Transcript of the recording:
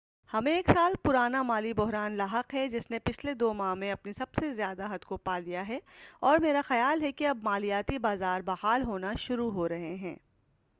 ہمیں ایک سال پرانا مالی بحران لاحق ہے جس نے پچھلے دو ماہ میں اپنی سب سے زیادہ حد کو پالیا ہے اور میرا خیال ہے کہ اب مالیاتی بازار بحال ہونا شروع ہورہے ہیں